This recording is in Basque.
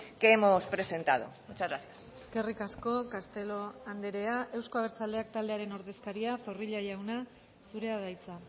que hemos presentado muchas gracias eskerrik asko castelo andrea euzko abertzaleak taldearen ordezkaria zorrilla jauna zurea da hitza